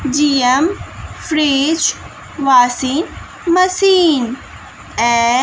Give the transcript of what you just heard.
जीयम fridge washing machine I--